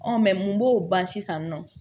mun b'o ban sisan nɔ